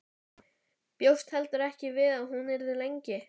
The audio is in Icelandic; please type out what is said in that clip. Bjóst heldur ekki við að hún yrði lengi.